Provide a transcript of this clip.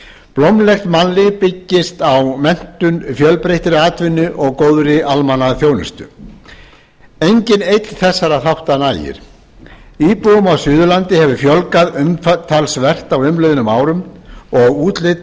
blómlegt mannlíf byggist á menntun fjölbreyttri atvinnu og góðri almannaþjónustu enginn einn þessara þátta nægir íbúum á suðurlandi hefur fjölgað umtalsvert á umliðnum árum og útlit